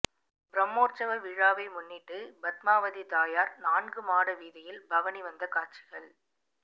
பிரம்மோற்சவ விழாவை முன்னிட்டு பத்மாவதி தாயார் நான்கு மாட வீதியில் பவனி வந்த காட்சிகள்